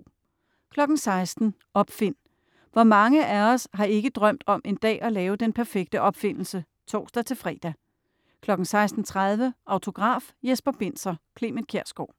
16.00 Opfind. Hvor mange af os har ikke drømt om en dag at lave den perfekte opfindelse? (tors-fre) 16.30 Autograf: Jesper Binzer, Clement Kjersgaard